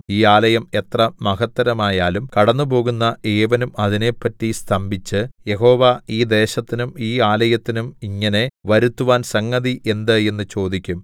ഈ ആലയം എത്ര മഹത്തരമായാലും കടന്നുപോകുന്ന ഏവനും അതിനെപ്പറ്റി സ്തംഭിച്ച് യഹോവ ഈ ദേശത്തിനും ഈ ആലയത്തിനും ഇങ്ങനെ വരുത്തുവാൻ സംഗതി എന്ത് എന്ന് ചോദിക്കും